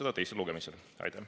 Aitäh!